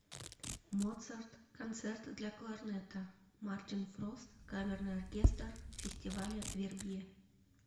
моцарт концерт для кларнета мартин фрост камерный оркестр фестиваля вербье